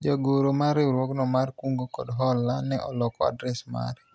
jagoro mar riwruogno mar kungo kod hola ne oloko adres mare